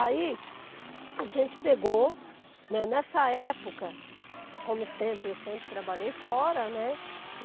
Aí, a gente pegou, não nessa época, como sempre, eu sempre trabalhei fora, né?